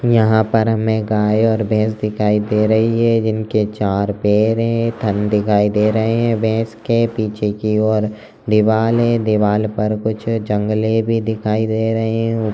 यहाँ पर हमें गाये और भैस दिखाई दे रहे हैं जिनके चार पैर है थन दिखाई दे रहे है भैस के पीछे की ओर दीवाल हैं दीवाल पर कुछ जंगले भी दिखाई दे रहे हैं।